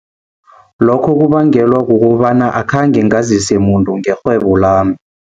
Lokho kubangelwa kukobana akhange ngazise muntu ngerhwebo lami.